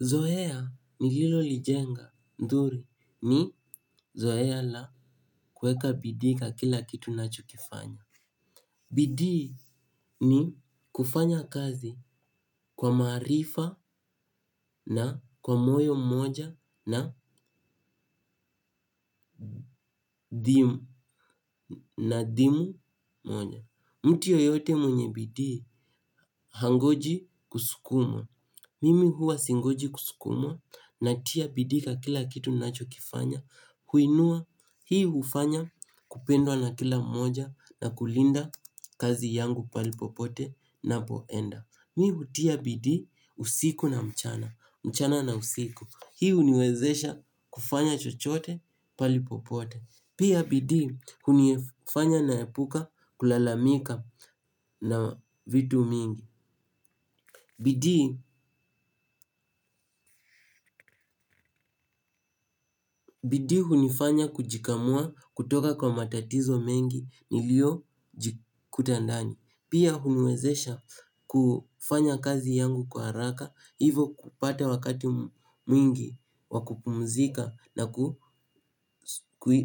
Zoea nililo lijenga nzuri ni zoea la kuweka bidii kwa kila kitu ninacho kifanya. Bidii ni kufanya kazi kwa maarifa na kwa moyo mmoja na dhimu moja. Mtu yoyote mwenye bidii hangoji kusukumwa. Mimi huwa singoji kusukumwa na tia bidii kwa kila kitu ninacho kifanya. Huinua hii hufanya kupendwa na kila mmoja na kulinda kazi yangu pahali popote ninapoenda. Mi hutia bidii usiku na mchana, mchana na usiku. Hii huniwezesha kufanya chochote pahalipopote. Pia bidii hunifanya naepuka kulalamika na vitu mingi. Bidi, bidii hunifanya kujikamua kutoka kwa matatizo mengi niliyo jikuta ndani. Pia huniwezesha kufanya kazi yangu kwa haraka, hivo kupata wakati mwingi wakupumzika na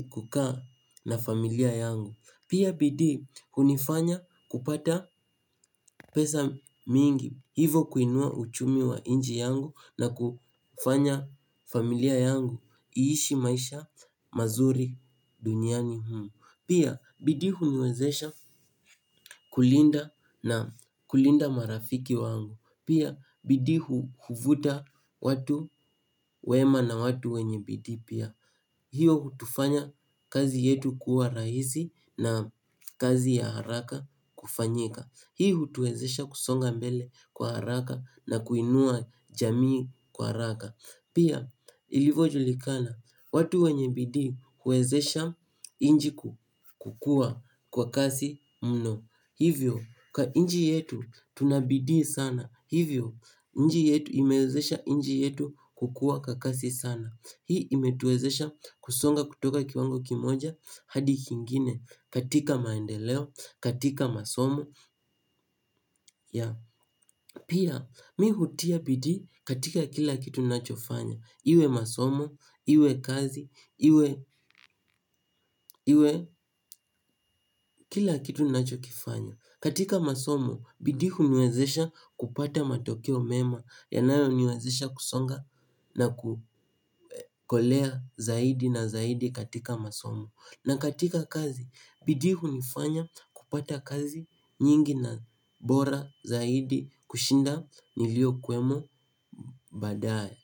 kukaa na familia yangu. Pia bidii hunifanya kupata pesa mingi. Hivo kuinua uchumi wa nchi yangu na kufanya familia yangu. Iishi maisha mazuri duniani humu. Pia bidii huniwezesha kulinda na kulinda marafiki wangu. Pia bidii huvuta watu wema na watu wenye bidii pia. Hiyo hutufanya kazi yetu kuwa rahisi na kazi ya haraka kufanyika. Hiyo hutuwezesha kusonga mbele kwa haraka na kuinua jamii kwa haraka. Pia ilivojulikana, watu wenye bidii huwezesha nchi kukua kwa kasi mno. Hivyo, kwa nchi yetu tunabidii sana. Hivyo, nchi yetu imewezesha nchi yetu kukua kwa kasi sana. Hii imetuwezesha kusonga kutoka kiwango kimoja hadi kingine katika maendeleo katika masomo ya pia mi hutia bidii katika kila kitu ninachofanya iwe masomo iwe kazi iwe iwe kila kitu ninachofanya katika masomo bidii huniwezesha kupata matokeo mema yanayo niwezesha kusonga na kuokolea zaidi na zaidi katika masomo. Na katika kazi, bidii hunifanya kupata kazi nyingi na bora zaidi kushinda niliyo kuwemo baadaye.